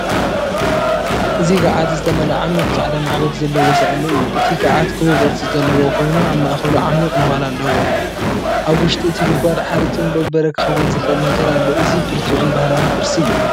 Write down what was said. እዚ ጋዓት ዝተመልአ ዓሚቝ ጻዕዳ ማዕበል ዘለዎ ሳእኒ እዩ። እቲ ጋዓት ክቡብ ቅርጺ ዘለዎ ኮይኑ ኣብ ማእከሉ ዓሚቝ ነዃል ኣለዎ። ኣብ ውሽጢ እቲ ጉድጓድ ሓርጭን በርበረ ክኸውን ዝኽእል ነገር ኣሎ። እዚ ብርቱዕን ባህላውን ቁርሲ እዩ።